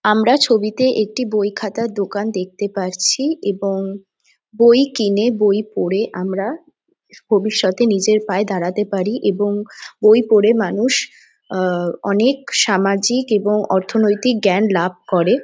আমরা ছবিতে একটি বই খাতা দোকান দেখতে পারছি এবং বই কিনে বই পড়ে আমরা ভবিষ্যতে নিজের পায়ে দাঁড়াতে পারি এবং বই পড়ে মানুষ আ অনেক সামাজিক এবং অর্থনৈতিক জ্ঞান লাভ করে।